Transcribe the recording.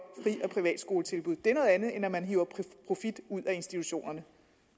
eller privatskoletilbud det er noget andet end at man hiver profit ud af institutionerne